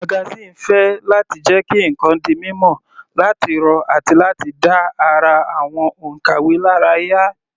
Magazine ń fẹ́ láti jẹ́ kí ǹkan di mímọ̀, láti rọ̀ àti láti dá ara àwọn onkàwe lára yá.